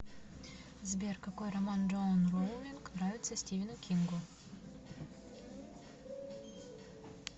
сбер какой роман джоан роулинг нравится стивену кингу